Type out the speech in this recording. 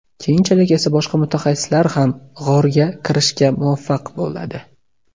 Keyinchalik esa boshqa mutaxassislar ham g‘orga kirishga muvaffaq bo‘ladi.